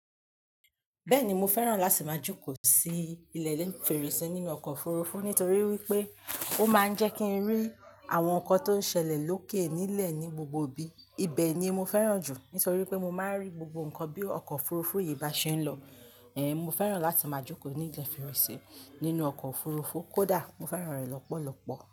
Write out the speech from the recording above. Bẹ́ẹ̀ni, mo fẹ́ràn láti máa jókòó sí ilẹ̀ ni fẹ̀reṣeré nínú ọkọ̀ òfurufú nítorí wípé ó máa ń jẹ́ kí n rí àwọn nǹkan tó ń ṣẹlẹ̀ lókè nílẹ̀ ní gbogbo ibi. Ibẹ̀ ni mo fẹ́ràn jù nítorí pé mo máa ń rí gbogbo nǹkan bí ọkọ̀ òfurufú yìí bá ṣe ń lọ. Mo fẹ́ràn láti máa jókòó ní ilẹ̀ ìfẹ̀reṣeré nínú ọkọ̀ òfurufú. Kódà mo fẹ́ràn rẹ̀ lọ́pọ̀lọpọ̀.